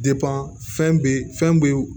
fɛn bɛ fɛn be